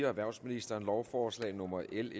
erhvervsministeren lovforslag nummer l